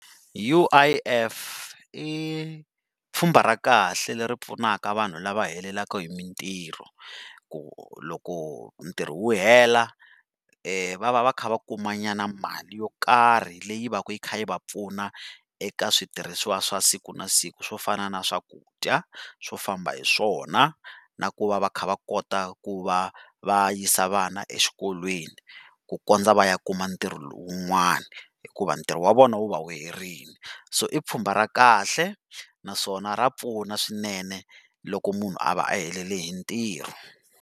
U_I_F i pfhumba ra kahle leri pfunaka vanhu lava heleleke hi mintirho. Ku loko ntirho wu hela, va va va kha va kuma nyana mali yo karhi leyi va ka yi kha yi va pfuna eka switirhisiwa swa siku na siku swo fana na swakudya, swo famba hi swona, na ku va va kha va kota ku va va yisa vana exikolweni, ku kondza va ya kuma ntirho wun'wani hikuva ntirho wa vona wu va wu herile. So i pfhumba ra kahle naswona ra pfuna swinene loko munhu a va a helele hi ntirho.